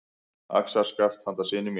Axarskaft handa syni mínum.